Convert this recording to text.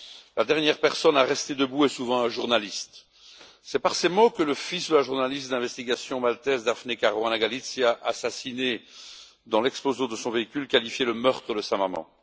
La dernière personne à rester debout est souvent un journaliste. C'est par ces mots que le fils de la journaliste d'investigation maltaise, Daphne Caruana Galizia assassinée dans l'explosion de son véhicule, a qualifié le meurtre de sa maman.